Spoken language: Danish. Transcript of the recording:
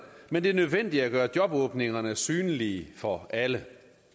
men det er nødvendigt at gøre jobåbningerne synlige for alle